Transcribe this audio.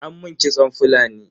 An mun kitson Fulani.